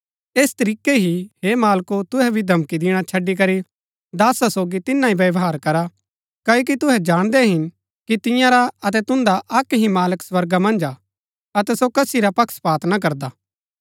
तैस तरीकै ही हे मालको तुहै भी धमकी दिणा छड़ी करी दासा सोगी तिनां ही व्यवहार करा क्ओकि तुहै जाणदै हिन कि तिंआ रा अतै तुन्दा अक्क ही मालक स्वर्गा मन्ज हा अतै सो कसी रा पक्षपात ना करदा